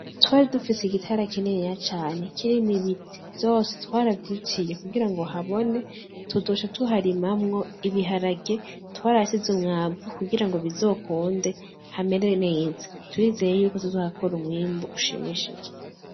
Twaridufise igitera kininiya cane kirimwo ibiti vyose twaravyiciye kugira ngo habone tuzoca tuharimamwo ibiharage, twarahashize umwavu kugira ngo bizokunde hamere neza. Turizeye yuko tuzohakora umwimbu ushimishije.